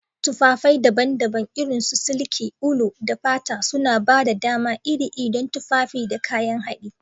Tufafai daban-daban, irin su siliki, ulu, da fata, suna ba da dama iri-iri don tufafi da kayan haɗi.